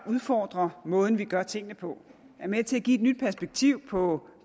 udfordre måden vi gør tingene på er med til at give et nyt perspektiv på